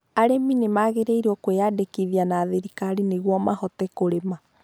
Arĩmi nĩ magĩrĩirwo nĩ kwĩyandĩkĩthia na thirikari nĩguo mahote kũrĩma